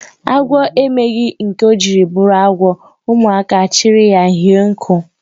Agwọ emeghị nke ọ jiri bụrụ agwọ ụmụaka achri ya hie nku